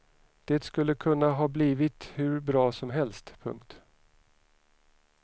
Det skulle kunna ha blivit hur bra som helst. punkt